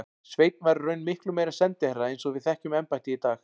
Sveinn var í raun miklu meira en sendiherra eins og við þekkjum embættið í dag.